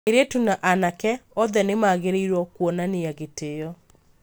Airĩtu na anake othe nĩ magĩrĩirũo kuonania gĩtĩo.